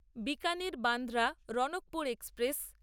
Bikaner Bandra Ranakpur express